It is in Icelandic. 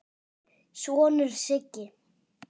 sonur, Siggi.